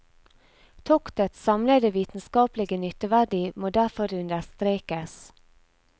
Toktets samlede vitenskapelige nytteverdi må derfor understrekes.